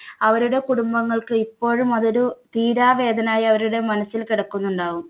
അവരുടെ കുടുംബങ്ങൾക്ക് ഇപ്പോഴും അതൊരു തീരാ വേദനായി അവരൊരു മനസ്സിൽ കെടക്കുന്നുണ്ടാവും.